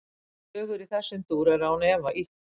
Sögur í þessum dúr eru án efa ýktar.